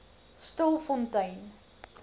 stilfontein